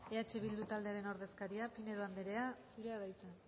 eh bildu taldearen ordezkaria pinedo anderea zurea da hitza